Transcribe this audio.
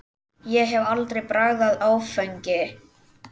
Ég hef aldrei bragðað áfengi.